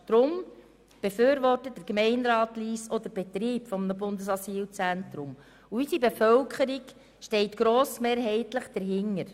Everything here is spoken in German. Deshalb befürwortet der Gemeinderat Lyss auch den Betrieb eines Bundesasylzentrums, und die Bevölkerung ist grossmehrheitlich einverstanden.